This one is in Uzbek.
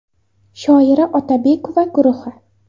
Shoira Otabekova guruhi.